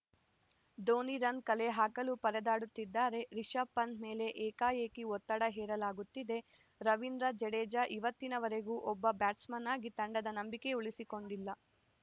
Dhoni run ಕಲೆಹಾಕಲು ಪರದಾಡುತ್ತಿದ್ದಾರೆ ರಿಶಭ್‌ ಪಂತ್‌ ಮೇಲೆ ಏಕಾಏಕಿ ಒತ್ತಡ ಹೇರಲಾಗುತ್ತಿದೆ ರವೀಂದ್ರ ಜಡೇಜಾ ಇವತ್ತಿನ ವರೆಗೂ ಒಬ್ಬ ಬ್ಯಾಟ್ಸ್‌ಮನ್‌ ಆಗಿ ತಂಡದ ನಂಬಿಕೆ ಉಳಿಸಿಕೊಂಡಿಲ್ಲ